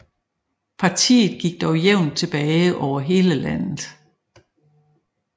Partiet gik dog jævnt tilbage over hele landet